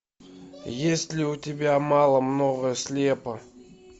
есть ли у тебя мало много слепо